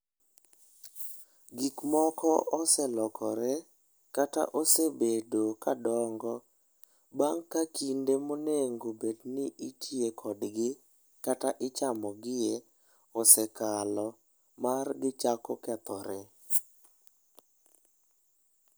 Gik moko oselokore, kata osebedo ka dongo bang' ka kinde ma onego bed ni itiye kodgi kata ichamo gi e osekalo mar gichako kethore.